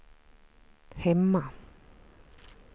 hemma